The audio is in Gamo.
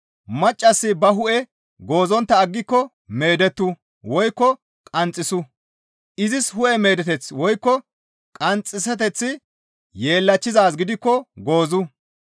Maccassi ba hu7e goozontta aggiko meedettu woykko qanxxisu; izis hu7e meedeteththi woykko qanxxiseththi yeellachchizaaz gidikko goozu.